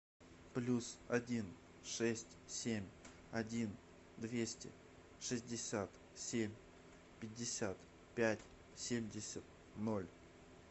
плюс один шесть семь один двести шестьдесят семь пятьдесят пять семьдесят ноль